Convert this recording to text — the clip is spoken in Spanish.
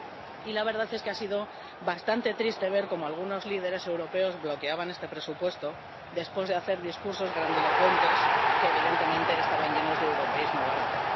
Y la verdad es que ha sido bastante triste ver como algunos líderes europeos bloqueaban este presupuesto, después de hacer discursos grandilocuentes que, evidentemente, estaban llenos de europeísmo barato.